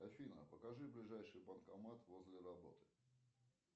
афина покажи ближайший банкомат возле работы